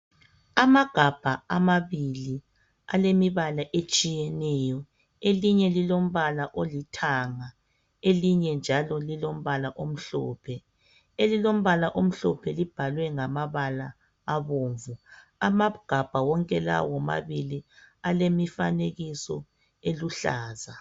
Amagabha amabili alemibala etshiyeneyo elinye lilombala olithanga elinye njalo lilombala omhlophe. Elilombala omhlophe libhalwe ngamabala abomvu, amagabha wonke lawa womabili alemifanekiso eluhlaza.